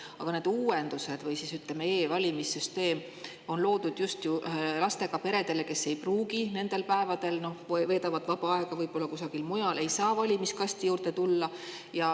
Aga need uuendused või, ütleme, e-valimissüsteem on loodud just ju lastega peredele, kes nendel päevadel veedavad vaba aega võib-olla kusagil mujal, ei saa valimiskasti juurde tulla.